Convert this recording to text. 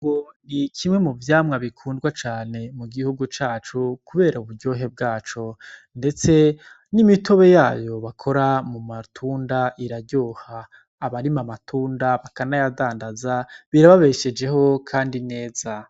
Ibungo ni kimwe muvyamwa bikundwa cane mugihugu cacu kubera uburyohe bwaco. Ndetse n'imitobe yayo bakora mumatunda iraryoha. Abarima amatunda bakanayadandaza birababeshejeho kandi neza.